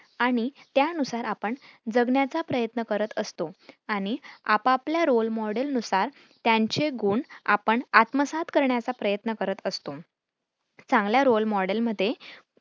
आणि त्यानुसार आपण जगण्याचा प्रयत्न करत असतो आणि आपापल्या role model नुसार त्यांचे गुण आपण आत्मसात करण्याचा प्रयत्न करत असतो. चांगल्या role model मध्ये